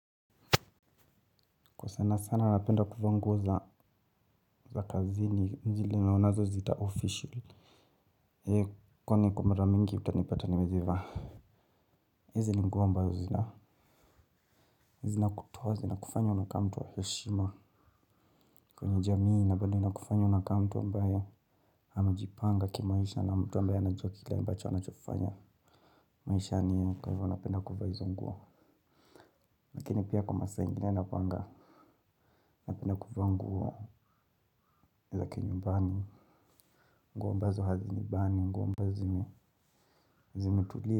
Kwa sana sana napenda kuvaa nguo za za kazi zile wanazoziita 'official'. Eeh, kwami kwa mara mingi utanipata nimezivaa. Hizi ni nguo mbazo zina zinakutoa zinakufanya unakaa mtu wa heshima. Kwenye jamii na bali nakufanya unakaamtu ambaye amajipanga kimaisha na mtu ambaye anajua kile ambacho anachofanya maishani yake. Kwa hivyo napenda kuvaa hizo nguo. Lakini pia kwa masaa ingine navaanga. Napenda kuvaa nguo za ki nyumbani. Nguo ambazo hazinibani nguo ambazo zimetulia.